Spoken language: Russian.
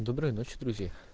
доброй ночи друг